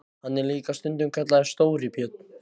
Hann er líka stundum kallaður Stóri björn.